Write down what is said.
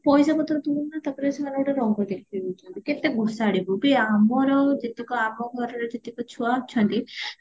ପଇସା ପତର ଦଉନାହାନ୍ତି ତାପରେ ସେମାନେ ଗୋଟେ ରଙ୍ଗ ଦେଖେଇ ଦଉଚନ୍ତି କେତେ ଘୋଷାଡ଼ିବୁ ବି ଆମର ଯେତେକ ଆମ ଘରର ଯେତେକ ଛୁଆ ଅଛନ୍ତି